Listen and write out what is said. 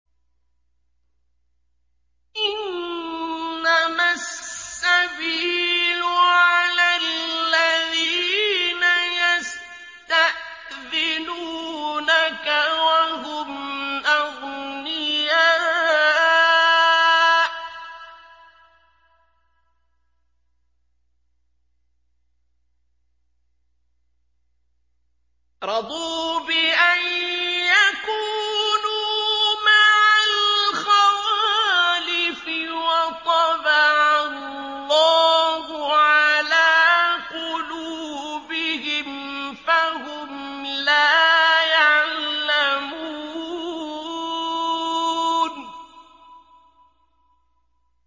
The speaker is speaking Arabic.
۞ إِنَّمَا السَّبِيلُ عَلَى الَّذِينَ يَسْتَأْذِنُونَكَ وَهُمْ أَغْنِيَاءُ ۚ رَضُوا بِأَن يَكُونُوا مَعَ الْخَوَالِفِ وَطَبَعَ اللَّهُ عَلَىٰ قُلُوبِهِمْ فَهُمْ لَا يَعْلَمُونَ